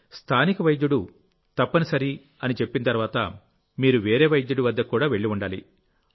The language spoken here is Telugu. స్థానిక వైద్యుడు తప్పనిసరిగా చెప్పిన తర్వాత మీరు వేరే వైద్యుడి వద్దకు వెళ్లి ఉండాలి